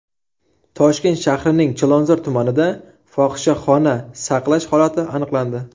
Toshkent shahrining Chilonzor tumanida fohishaxona saqlash holati aniqlandi.